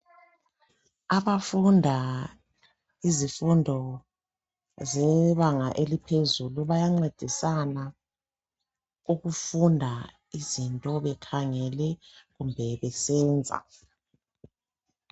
Abafunda imnfundo yebanga laphezulu bancedisana ukufunda izinto bekhangele kumbe besenza .